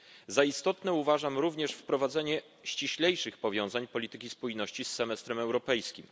Za istotne uważam również wprowadzenie ściślejszych powiązań polityki spójności z semestrem europejskim.